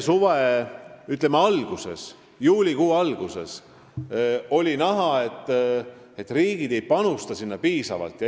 Veel juulikuu alguses oli näha, et riigid ei panusta Aafrika usaldusfondi piisavalt.